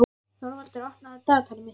Þorvaldur, opnaðu dagatalið mitt.